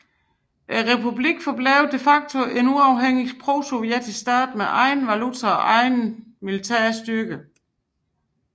Republikken forblev de facto en uafhængig prosovjetisk stat med egen valuta og egne militære styrker